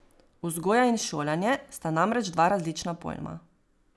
Vzgoja in šolanje sta namreč dva različna pojma.